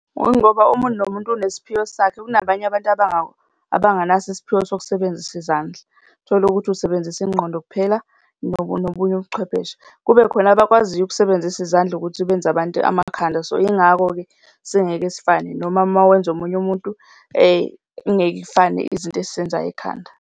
Yingoba omuntu nomuntu unesiphiwo sakhe. Kunabanye abantu abanganaso isiphiwo sokusebenzisa izandla, tholukuthi usebenzisa ingqondo kuphela nobunye ubuchwepheshe. Kube khona abakwaziyo ukusebenzisa izandla ukuthi benze abantu amakhanda. So, yingakho-ke singeke sifane noma uma wenza omunye umuntu ingekifane izinto esizenzayo ekhanda.